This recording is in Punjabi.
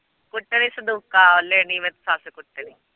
ਕੁੱਟਣੀ ਸੰਦੂਕਾਂ ਓਹਲੇ ਨੀ ਮੈਂ ਸੱਸ ਕੁੱਟਣੀ।